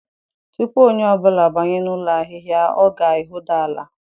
Tupu onye ọ bụla abanye n'ụlọ ahịhịa, ọ ga-ehuda ala